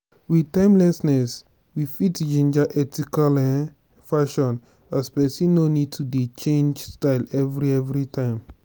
with timelessness we fit ginger ethical um fashion as person no need to dey change style every every time